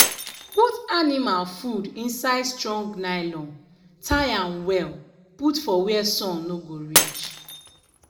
put anima food inside strong nylon tie am well put for where sun no go reach.